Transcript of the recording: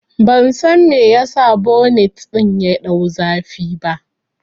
Ban san me yasa bonet ɗin ya ɗau zafi ba